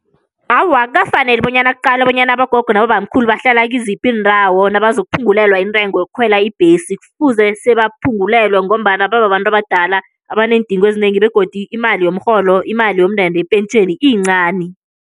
Awa, akukafaneli bonyana kuqalwe bonyana abogogo nabobamkhulu bahlala kiziphi iindawo nabazokuphungulelwa intengo yokukhwela ibhesi. Kufuze sebaphungulelwe ngombana bababantu abadala, abaneendingo ezinengi. Begodu imali yomrholo, imali yomndende yepentjheni iyincani.